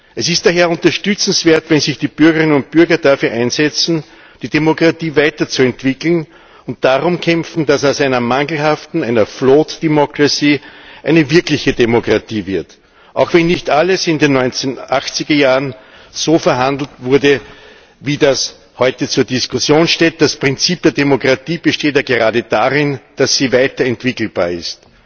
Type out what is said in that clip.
Es ist daher unterstützenswert, wenn sich die Bürgerinnen und Bürger dafür einsetzen, die Demokratie weiterzuentwickeln, und darum kämpfen, dass aus einer mangelhaften, einer flawed democracy eine wirkliche Demokratie wird. Auch wenn nicht alles in den 80 er Jahren so verhandelt wurde, wie das heute zur Diskussion steht Das Prinzip der Demokratie besteht ja gerade darin, dass sie weiter entwickelbar ist.